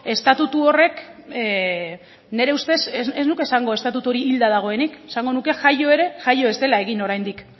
estatutu horrek nire ustez ez nuke esango estatutu hori hilda dagoenik esango nuke jaio ere jaio ez dela egin oraindik